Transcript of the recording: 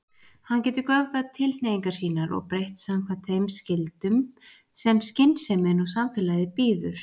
Hann getur göfgað tilhneigingar sínar og breytt samkvæmt þeim skyldum sem skynsemin og samfélagið býður.